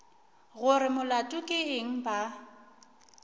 gore molato ke eng ba